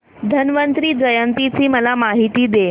धन्वंतरी जयंती ची मला माहिती दे